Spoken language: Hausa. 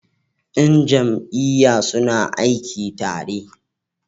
Yan jam'iyya suna aiki tare.